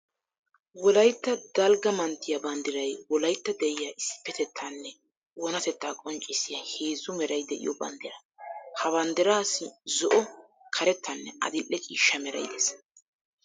Wolaytta dalgga manttiya banddiray wolaytta deriya issipetettanne oonatetta qonccissiya heezzu meray de'iyo banddira. Ha banddirassi zo'o, karettanne adi'ee ciishsha meray de'ees.